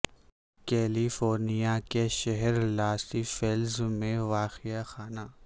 کیلی فورنیا کے شہر Los Feliz میں واقع خانہ